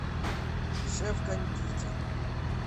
шеф кондитер